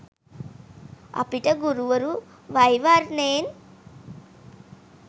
අපිට ගුරුවරු වෛවර්ණයෙන්